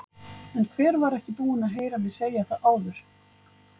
En hver var ekki búinn að heyra mig segja það áður?